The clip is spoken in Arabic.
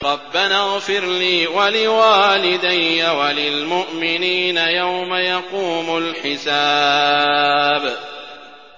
رَبَّنَا اغْفِرْ لِي وَلِوَالِدَيَّ وَلِلْمُؤْمِنِينَ يَوْمَ يَقُومُ الْحِسَابُ